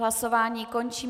Hlasování končím.